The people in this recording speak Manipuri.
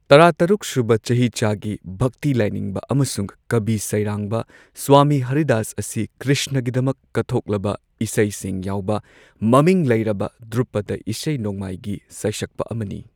ꯇꯔꯥꯇꯔꯨꯛ ꯁꯨꯕ ꯆꯍꯤꯆꯥꯒꯤ ꯚꯛꯇꯤ ꯂꯥꯏꯅꯤꯡꯕ ꯑꯃꯁꯨꯡ ꯀꯕꯤ ꯁꯩꯔꯥꯡꯕ ꯁ꯭ꯋꯥꯃꯤ ꯍꯔꯤꯗꯥꯁ ꯑꯁꯤ ꯀ꯭ꯔꯤꯁꯅꯒꯤꯗꯃꯛ ꯀꯠꯊꯣꯛꯂꯕ ꯏꯁꯩꯁꯤꯡ ꯌꯥꯎꯕ ꯃꯃꯤꯡ ꯂꯩꯔꯕ ꯙ꯭ꯔꯨꯄꯗ ꯏꯁꯩ ꯅꯣꯡꯃꯥꯏꯒꯤ ꯁꯩꯁꯛꯄ ꯑꯃꯅꯤ꯫